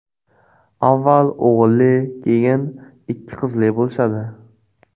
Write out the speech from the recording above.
Avval o‘g‘illi, keyin ikki qizli bo‘lishadi.